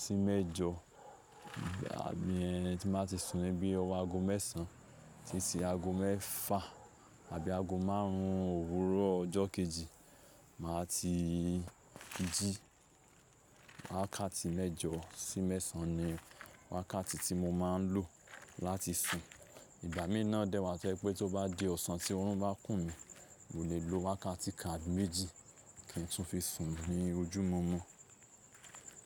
sí mẹ́jọ àbí ẹhn tí n bá ti sùn ní bí ọwọ́ ago mẹ́sàn án títí ago mẹ́fà àbí ago márùn ún òwúrọ̀ ọjọ́ kejì màá ti jí. Wákàtí mẹ́jọ sí mẹ́sàn án ni wákàtí tí mo máa ń lò láti sùn. Ìgbà mìíràn dẹ́wàá tó jé pé tó bá di ọ̀sán tí orun bá kùn mi, mò lè lo wákàtí kán àbì méjì kí n tún fi sùn ní ojú mọ́mọ́.